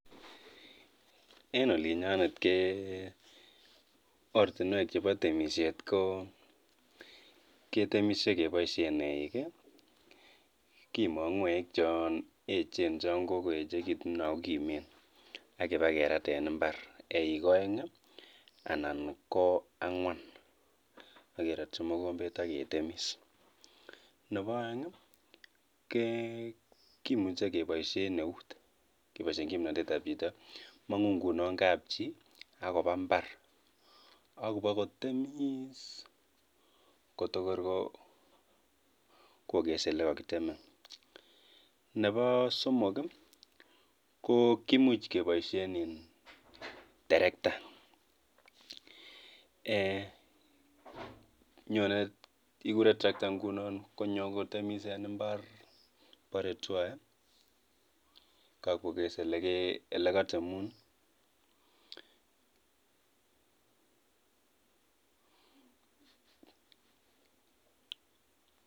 Ororun oratinwek alak chebo temisiet chetam keboisien en koreng'wong'.